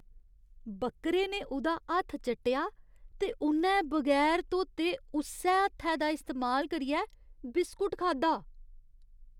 बक्करे ने उ'दा हत्थ चट्टेआ ते उ'न्नै बगैर धोते उस्सै हत्थै दा इस्तेमाल करियै बिस्कुट खाद्धा।